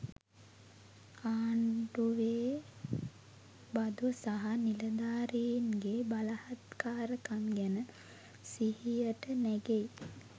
ආණ්ඩුවේ බදු සහ නිලධාරීන්ගේ බලහත්කාරකම් ගැන සිහියට නැගෙයි.